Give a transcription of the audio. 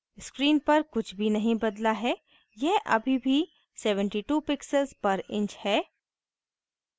screen पर कुछ भी नहीं बदला है यह अभी भी 72 pixels पर inch है